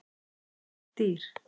Dreymir dýr?